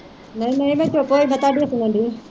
ਨਹੀਂ ਨਹੀਂ ਮੈਂ ਚੁੱਪ ਹੋਈ, ਮੈਂ ਤੁਹਾਡੀ ਸੁਣਨਡੀ।